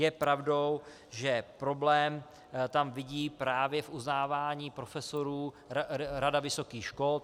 Je pravdou, že problém tam vidí právě v uznávání profesorů Rada vysokých škol.